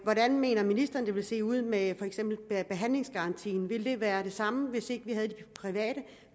hvordan mener ministeren det vil se ud med hensyn til for eksempel behandlingsgarantien vil den være den samme hvis ikke vi har de private